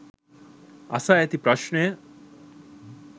අසා ඇති ප්‍රශ්නය